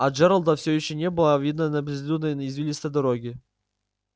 а джералда все ещё не было видно на безлюдной извилистой дороге